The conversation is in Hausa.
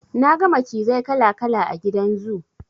Na ga macizai kala kala a gidan zoo.